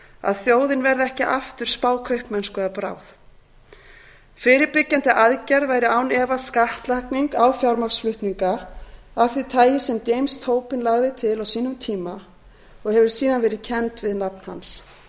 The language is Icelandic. að þjóðin verði ekki aftur spákaupmennsku að bráð fyrirbyggjandi aðgerð væri án efa skattlagning á fjármagnsflutninga af því tagi sem james tobin lagði til á sínum tíma og hefur síðan verið kennd við nafn hans